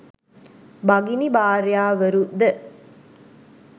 භගිනි භාර්යාවරු ද